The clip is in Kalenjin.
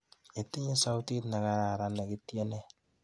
Itinye sautit ne kararan nekityene.